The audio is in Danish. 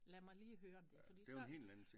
Lad mig lige høre om det fordi så